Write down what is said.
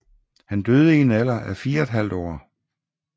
Han døde i en alder af 4½ år